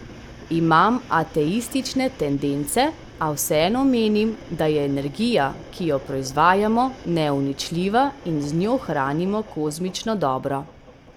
Imam ateistične tendence, a vseeno menim, da je energija, ki jo proizvajamo, neuničljiva in z njo hranimo kozmično dobro.